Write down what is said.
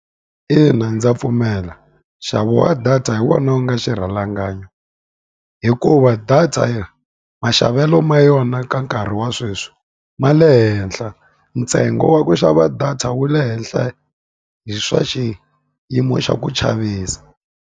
Ina ndza pfumela. Nxavo wa data hi wona wu nga xirhalanganyi. Hikuva data maxavelo ma yona ka nkarhi wa sweswi, ma le henhla. Ntsengo wa ku xava data wu le henhla swa xiyimo xa ku chavisa.